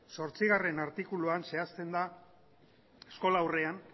zortzigarrena artikuluan zehazten da eskolaurrean